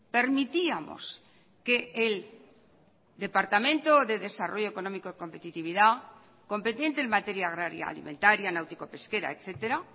permitíamos que el departamento de desarrollo económico y competitividad competente en materia agraria alimentaria náutico pesquera etcétera